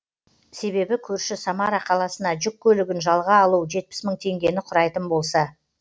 себебі көрші самара қаласына жүк көлігін жалға алу жетпіс мың теңгені құрайтын болса